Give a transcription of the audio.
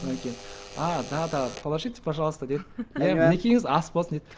содан кейін ааа да да положите пожалуйста деп иә мінекейіңіз ас болсын деп